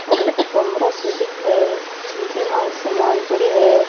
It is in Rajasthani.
और कमरों सा दिखे जेमा समान पड़ो है।